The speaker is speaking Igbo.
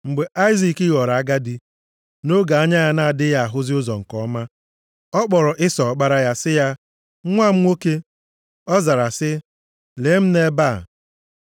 Mgbe Aịzik ghọrọ agadi, nʼoge anya ya na-adịghị ahụzi ụzọ nke ọma, ọ kpọrọ Ịsọ ọkpara ya, sị ya, “Nwa m nwoke.” Ọ zara sị, “Lee m nʼebe a.”